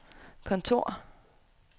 kontor